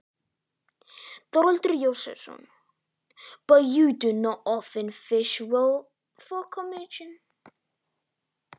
Þórhallur Jósefsson: En veiðist ekki oft vel í kjölfar brælu?